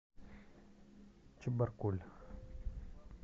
чебаркуль